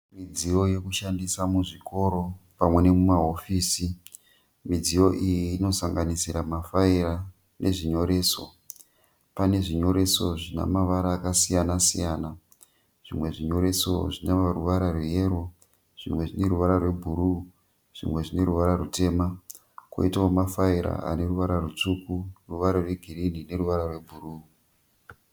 Midziyo yekushandisa muzvikoro pamwe nemumahofisi. Midziyo iyi inosanganisira mafaira nezvinyoreso. Pane zvinyoreso zvina mavara akasiyana-siyana. Zvimwe zvinyoreso zvine ruvara rweyero zvimwe zvine ruvara rwebhuruu zvimwe zvine ruvara rutema. Kwoitawo mafaira ane ruvara rutsvuku ruvara rwegirini neruvara rwebhuruu.